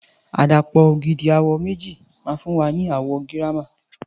Àdàpọ̀ ògidì àwọ̀ méjì ma fún wa ni àwọ̀ girama